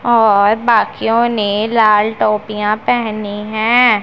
और बाकियों ने लाल टोपियां पहनी हैं।